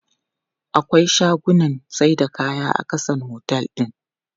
Akwai shagunnan saida kaya a ƙasan otel din.